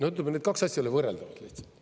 Ütleme, need kaks asja ei ole võrreldavad lihtsalt.